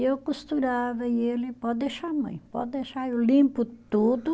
Eu costurava e ele, pode deixar mãe, pode deixar, eu limpo tudo.